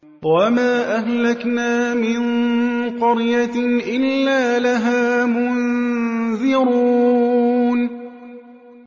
وَمَا أَهْلَكْنَا مِن قَرْيَةٍ إِلَّا لَهَا مُنذِرُونَ